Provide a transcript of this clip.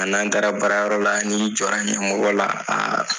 A n'an taara baarayɔrɔ la ni jɔra ɲɛmɔgɔ la, aaa